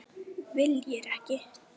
Viljir ekki.